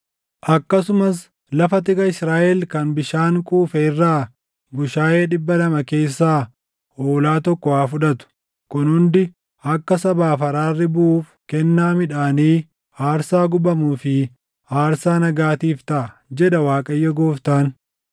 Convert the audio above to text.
Akkasumas lafa tika Israaʼel kan bishaan quufe irraa bushaayee dhibba lama keessaa hoolaa tokko haa fudhatu. Kun hundi akka sabaaf araarri buʼuuf kennaa midhaanii, aarsaa gubamuu fi aarsaa nagaatiif taʼa, jedha Waaqayyo Gooftaan.